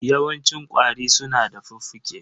Yawancin ƙwari su na da fuffuke.